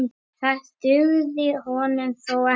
Það dugði honum þó ekki.